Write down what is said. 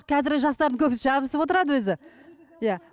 қазіргі жастардың көбісі жабысып отырады өзі иә